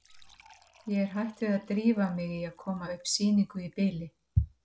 Ég er hætt við að drífa mig í að koma upp sýningu í bili.